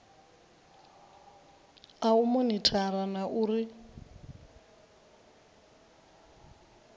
a u monithara na uri